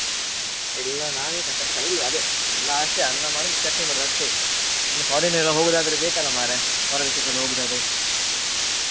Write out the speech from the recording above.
ಇಲ್ಲ ನಾನ್ ಏನ್ ಕಲಿಲಿಲ್ಲ ಅದೇ ನಮ್ದು ಅಷ್ಟೇ ಅನ್ನ ಮಾಡೋದು ಚಟ್ನಿ ಮಾಡೋದು ಅಷ್ಟೇ ಇನ್ನು Foreign ನೆಲ್ಲ ಹೋಗುದಾದ್ರೆ ಬೇಕ್ ಅಲ್ಲ ಮಾರ್ರೆ ಹೊರ ದೇಶಕೆಲ್ಲ ಹೋಗೂದಾದ್ರೆ.